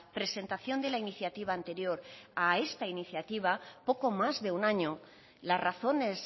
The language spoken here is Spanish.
presentación de la iniciativa anterior a esta iniciativa poco más de un año las razones